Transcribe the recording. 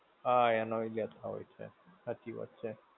હા એનોય લેતા હોય છે. સાચી વાત છે.